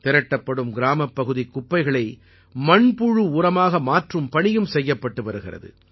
திரட்டப்படும் கிராமப்பகுதிக் குப்பைகளை மண்புழு உரமாக மாற்றும் பணியும் செய்யப்பட்டு வருகிறது